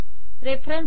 reference